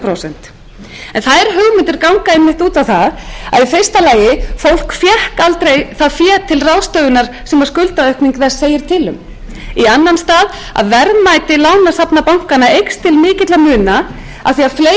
prósent þær hugmyndir ganga einmitt út á það í fyrsta lagi að fólk fékk aldrei það fé til ráðstöfunar sem skuldaaukning þess segir til um í annan stað ganga hugmyndirnar út að verðmæti lánasafna bankanna eykst til mikilla muna af því að fleiri